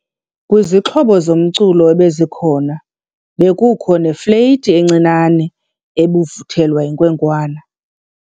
Kwizixhobo zomculo ebezikhona bekukho nefleyiti encinane ebivuthelwa yinkwenkwana.